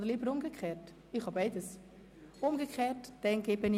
Oder bevorzugen Sie die umgekehrte Reihenfolge?